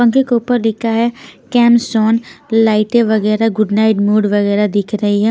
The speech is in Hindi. पंखे के ऊपर लिखा है केमस्टोन लाइटें वगैरा गुड नाइट मोड वगैरा दिख रही है।